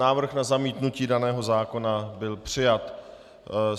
Návrh na zamítnutí daného zákona byl přijat.